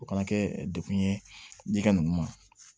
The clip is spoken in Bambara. O kana kɛ dekun ye jika ninnu ma